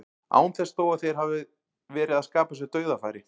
Án þess þó að þeir hafi verið að skapa sér dauðafæri.